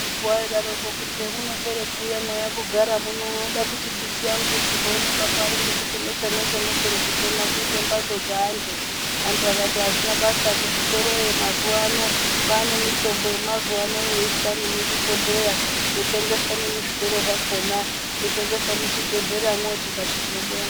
Vai daroko kuti hemuno pere ku uya mwe uya kuno gara unoda kuti mbiti yangu ichizo onekwa pari ngekuti mweshe mweshe mopere kutemwa kuite mbatso dze antu antu akati azvina basa ku zvitoroyo mazuva ano kwane mitombo ye mazuva ano yoiswa nemu zvibhodhleya ino tengeswe nemu zvitoro zvakona yo tengeswa mu zvibhedhlera mwo tikati tino bonga.